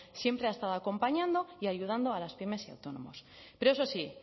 siempre ha estado acompañando y ayudando a las pymes y autónomos pero eso sí